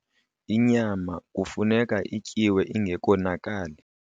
inyama kufuneka ityiwe ingekonakali